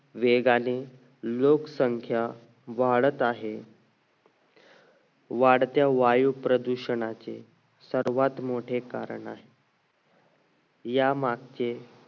वेगाने लोकशाहीच्या वाढत आहे वाढत्या वायू प्रदूषणाचे सर्वात मोठे कारण आहे या मागचे